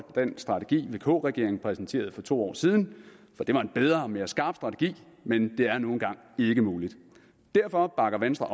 strategi vk regeringen præsenterede for to år siden for det var en bedre og mere skarp strategi men det er nu engang ikke muligt derfor bakker venstre